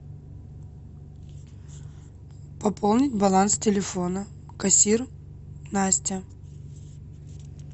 пополнить баланс телефона кассир настя